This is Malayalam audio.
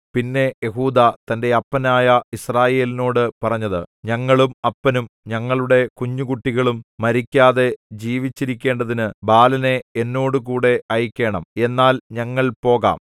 പിന്നെ യെഹൂദാ തന്റെ അപ്പനായ യിസ്രായേലിനോടു പറഞ്ഞത് ഞങ്ങളും അപ്പനും ഞങ്ങളുടെ കുഞ്ഞുകുട്ടികളും മരിക്കാതെ ജീവിച്ചിരിക്കേണ്ടതിന് ബാലനെ എന്നോടുകൂടെ അയയ്ക്കേണം എന്നാൽ ഞങ്ങൾ പോകാം